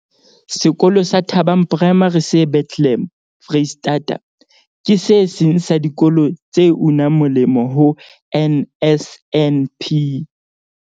Sekolo sa Thabang Primary se Bethlehem, Freistata, ke se seng sa dikolo tse unang moleng ho NSNP.